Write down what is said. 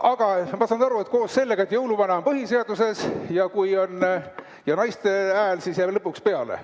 Aga ma saan aru, et koos sellega, et jõuluvana on põhiseaduses, naiste hääl jääb lõpuks peale.